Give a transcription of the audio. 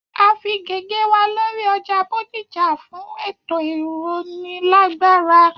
A fí gègé wa lóri ọjà Bódìjà fún ètò ìrónilágbára